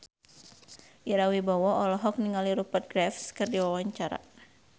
Ira Wibowo olohok ningali Rupert Graves keur diwawancara